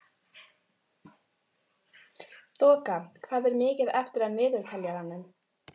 Þoka, hvað er mikið eftir af niðurteljaranum?